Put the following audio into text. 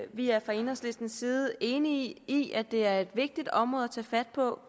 vi er fra enhedslistens side enige i at det er et vigtigt område at tage fat på